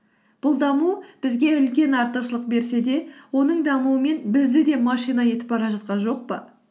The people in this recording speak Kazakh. бұл даму бізге үлкен артықшылық берсе де оның дамуымен бізді де машина етіп бара жатқан жоқ па